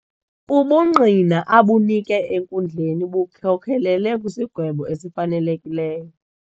Ubungqina abunike enkundleni bukhokelele kwisigwebo esifanelekileyo.